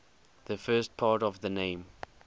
the first part of the name